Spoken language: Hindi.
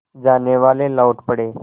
जानेवाले लौट पड़े